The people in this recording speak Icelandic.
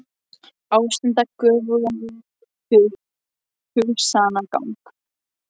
Ástunda göfugan hugsanagang.